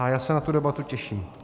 A já se na tu debatu těším.